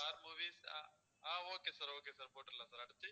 star movies ஆஹ் okay sir okayஸ் sir போட்டுடலாம் sir அடுத்து